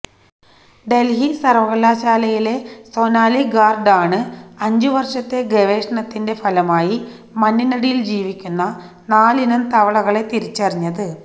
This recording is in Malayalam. ഡല്ഹി സര്വകലാശാലയിലെ സൊനാലി ഗാര്ഗ് ആണ് അഞ്ചുവര്ഷത്തെ ഗവേഷണത്തിന്റെ ഫലമായി മണ്ണിനടിയില് ജീവിക്കുന്ന നാലിനം തവളകളെ തിരിച്ചറിഞ്ഞത്